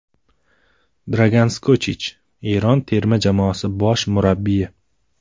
Dragan Skochich, Eron terma jamoasi bosh murabbiyi !